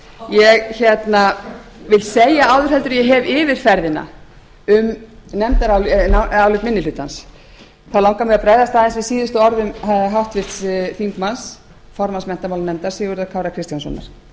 ég vil segja áður en ég hef yfirferðina um nefndarálit minni hlutans þá langar mig að bregðast aðeins við síðustu orðum háttvirts þingmanns formanns menntamálanefndar sigurðar kára